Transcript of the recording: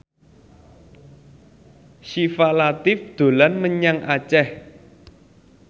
Syifa Latief dolan menyang Aceh